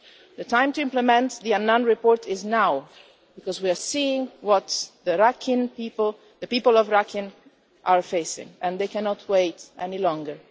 The time to implement the Annan Report is now because we are seeing what the people of Rakhine are facing and they cannot wait any longer.